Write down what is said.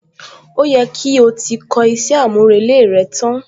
Ó yẹ kí o ti kọ iṣẹ́ àmúrelé rẹ tán?